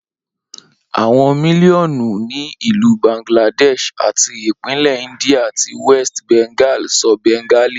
Awọn miliọnu ni Ilu Bangladesh ati ipinlẹ India ti West Bengal sọ Bengali.